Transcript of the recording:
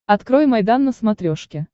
открой майдан на смотрешке